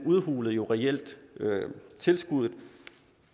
udhulede jo reelt tilskuddet